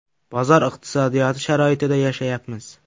Bozor iqtisodiyoti sharoitida yashayapmiz.